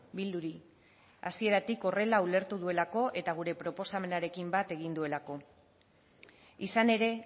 bilduri hasieratik horrela ulertu duelako eta gure proposamenarekin bat egin duelako izan ere